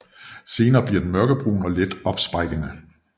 Senere bliver den mørkebrun og let opsprækkende